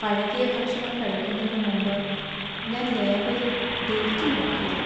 പഴകിയ ഭക്ഷണം കഴിക്കുന്നതിന് മുമ്പ് ഞാന്‍ ലേബലിൽ ഡേറ്റ് നോക്കിയില്ല.